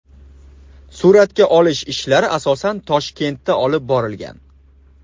Suratga olish ishlari asosan Toshkentda olib borilgan.